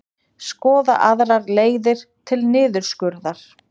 Skoða aðrar leiðir til niðurskurðar